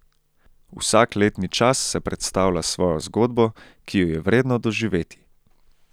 Vsak letni čas se predstavlja s svojo zgodbo, ki jo je vredno doživeti.